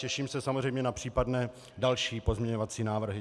Těším se samozřejmě na případné další pozměňovací návrhy.